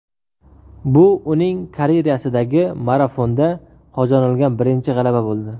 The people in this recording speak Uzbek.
Bu uning karyerasidagi marafonda qozonilgan birinchi g‘alaba bo‘ldi.